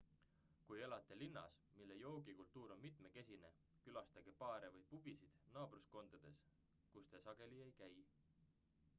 kui elate linnas mille joogikultuur on mitmekesine külastage baare või pubisid naabruskondades kus te sageli ei käi